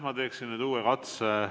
Ma teen uue katse.